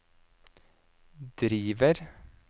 driver